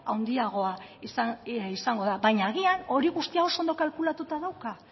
handiagoa izango da baina agian hori guztia oso ondo kalkulatuta dauka